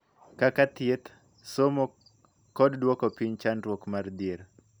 Kaka thieth, somo, kod duoko piny chandruok mar dhier.